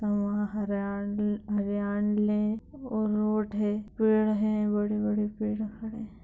वहां हरा हरियाले और रोड है पेड़ है बड़े-बड़े पेड़ खड़े है।